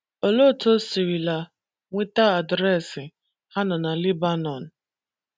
Olee otú o sirila nweta adreesị Ha nọ na Lebanọn?